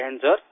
Jai Hind sir